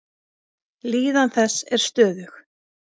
Líðan þess er stöðug.